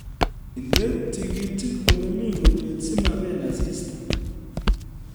Inde tikitik olemi urweet simabel asista